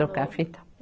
Trocar a fita.